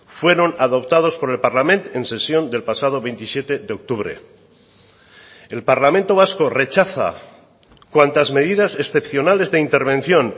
fueron adoptados por el parlament en sesión del pasado veintisiete de octubre el parlamento vasco rechaza cuantas medidas excepcionales de intervención